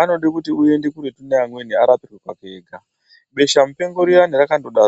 Anoda kuti uende kuretu neamweni urapwe uri pako wega. Beshamupengo riyani rakatodarowo.